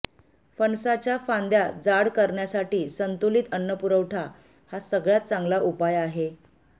फणसाच्या फांद्या जाड करण्यासाठी संतुलित अन्नपुरवठा हा सगळ्यात चांगला उपाय आहे